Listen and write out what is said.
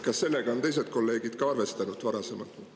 Kas sellega on teised kolleegid ka arvestanud?